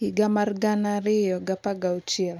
2016